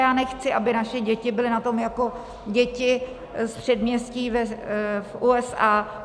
Já nechci, aby naše děti byly na tom jako děti z předměstí v USA.